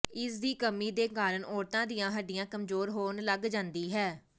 ਇਸ ਦੀ ਕਮੀ ਦੇ ਕਾਰਨ ਔਰਤਾਂ ਦੀਆਂ ਹੱਡੀਆਂ ਕਮਜੋਰ ਹੋਣ ਲੱਗ ਜਾਂਦੀ ਹੈ